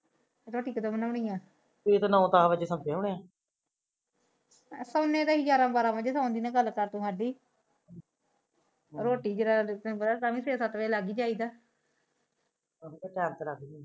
ਰੋਟੀ ਕਦੋ ਬਣੋਣੀਆ ਸੋਂਦੇ ਤਾ ਅਸੀ ਗਿਆਰਾਂ ਬਾਰਾ ਬਜੇ ਸੋਣ ਦੀ ਨਾ ਗੱਲ ਕਰ ਅੱਜ ਹੀ ਰੋਟੀ ਤਾ ਤੈਨੂੰ ਪਤਾ ਸੱਤ ਬਜੇ ਲੱਗ ਹੀ ਜਾਈਦਾ